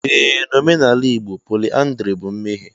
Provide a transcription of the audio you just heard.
Ee na omenala Igbo, pọlyndrị bụ mmehie.